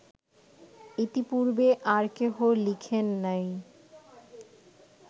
ইতিপূর্বে আর কেহ লিখেন নাই